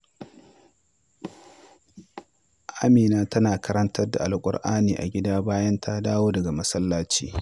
Amina tana karanta Alƙur’ani a gida bayan ta dawo daga masallaci.